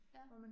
Ja